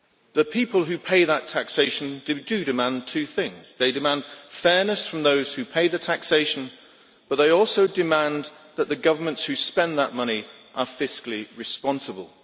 The people who pay that taxation demand two things they demand fairness from those who pay the taxation, but they also demand that the governments who spend that money be fiscally responsible.